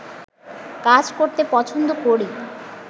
কাজ করতে পছন্দ করি